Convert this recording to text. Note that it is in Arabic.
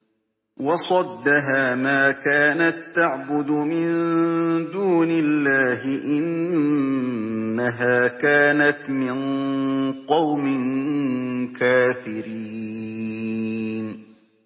وَصَدَّهَا مَا كَانَت تَّعْبُدُ مِن دُونِ اللَّهِ ۖ إِنَّهَا كَانَتْ مِن قَوْمٍ كَافِرِينَ